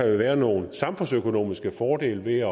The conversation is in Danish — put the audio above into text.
vil være nogle samfundsøkonomiske fordele ved